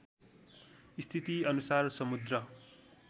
स्थिति अनुसार समुद्र